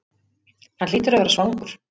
Hann hlýtur að vera svangur.